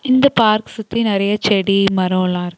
இந்தப் பார்க் சுத்தி நெறைய செடி மரோல்லா.